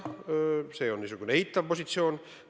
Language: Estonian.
See on niisugune eitav positsioon.